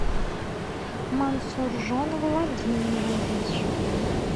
мансуржон владимирович